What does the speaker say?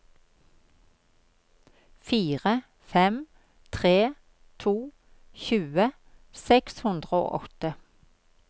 fire fem tre to tjue seks hundre og åtte